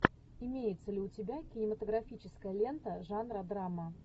имеется ли у тебя кинематографическая лента жанра драма